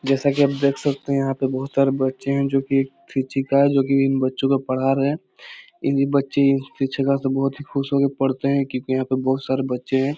जैसा की आप देख सकते है यहां पे बहुत सारे बच्चे हैं जो की एक शिक्षिका जो की इन बच्चों को पढ़ा रहे है इनी बच्चे शिक्षिका से बहुत ही खुश होके पढ़ते हैं क्यूँकि यहां पे बहुत सारे बच्चें हैं।